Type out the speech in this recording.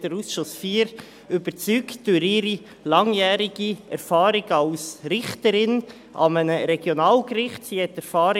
Sie hat den Ausschuss IV durch ihre langjährige Erfahrung als Richterin an einem Regionalgericht überzeugt.